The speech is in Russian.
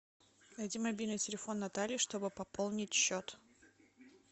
найти мобильный телефон натальи чтобы пополнить счет